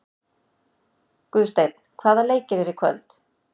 Guðsteinn, hvaða leikir eru í kvöld?